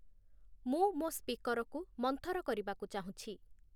ମୁଁ ମୋ ସ୍ପିକର୍‌କୁ ମନ୍ଥର କରିବାକୁ ଚାହୁଁଛି